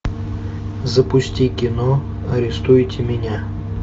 запусти кино арестуйте меня